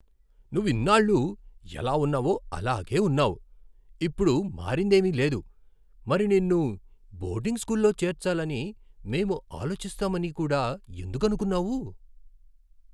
నువ్వు ఇన్నాళ్లూ ఎలా ఉన్నావో అలాగే ఉన్నావు, ఇప్పుడు మారిందేమీ లేదు, మరి నిన్ను బోర్డింగ్ స్కూల్లో చేర్చాలని మేం ఆలోచిస్తామని కూడా ఎందుకు అనుకున్నావు?